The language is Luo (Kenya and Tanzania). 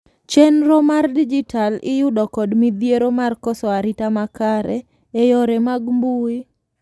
chenro mag dijital iyudo kod midhiero mar koso arita makare e yore mag mbui